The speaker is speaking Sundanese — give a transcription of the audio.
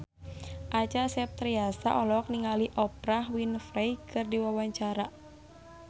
Acha Septriasa olohok ningali Oprah Winfrey keur diwawancara